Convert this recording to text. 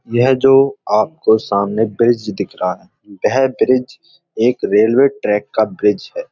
यह जो आपको सामने ब्रिज दिख रहा है। यह ब्रिज एक रेलवे ट्रैक का ब्रिज है।